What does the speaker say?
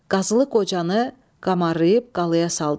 Qazılıq Qocanı qamarlayıb qalaya saldılar.